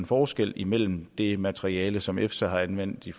forskel imellem det materiale som efsa har anvendt i